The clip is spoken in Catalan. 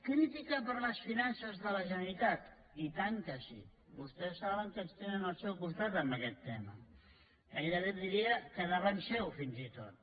crítica per a les finances de la generalitat i tant que sí vostès saben que ens tenen al seu costat en aquest tema gairebé diria que davant seu fins i tot